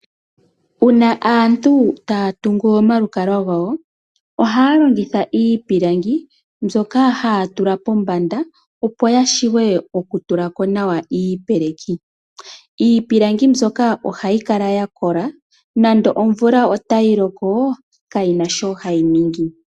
Uuna aantu taya tungu omalukalwa gawo ohaya longitha iipilangi mbyoka haya tula pombanda, opo ya wape oku tula ko nawa iipeleki. Iipilangi mbyoka ohayi kala ya kola nenge omvula otayi loko kayina shi hayi ningi.